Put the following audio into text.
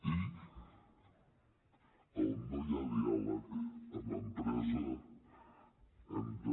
i on no hi ha diàleg amb empresa hem de